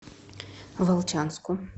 волчанску